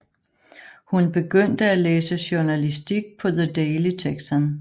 Hun begyndte at læse journalistik på The Daily Texan